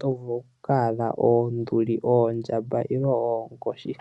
tovulu oku adha oonduli, oondjamba oshowo oonkoshi.